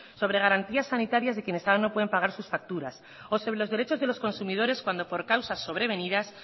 sobre garantías sanitarias de quienes ahora no pueden pagar sus facturas o sobre los derechos de los consumidores cuando por causas sobre venidas